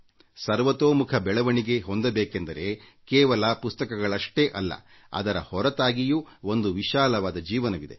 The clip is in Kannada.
ಸರ್ವತೋಮುಖ ಬೆಳವಣಿಗೆ ಹೊಂದಬೇಕೆಂದರೆ ಕೇವಲ ಪುಸ್ತಕಗಳಷ್ಟೇ ಅಲ್ಲ ಅದರ ಹೊರತಾಗಿಯೂ ಒಂದು ವಿಶಾಲವಾದ ಜೀವನವಿದೆ